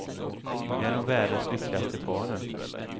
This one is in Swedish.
Vi är nog världens lyckligaste par nu.